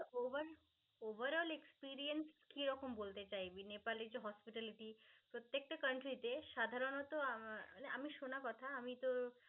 Over over all experience কি রকম বলতে চাইবি? নেপালে যে hospitality প্রত্যেকটা country তে সাধারণত আহ আমি শোনা কথা, আমি তো